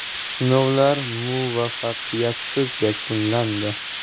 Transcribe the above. Sinovlar muvaffaqiyatsiz yakunlandi.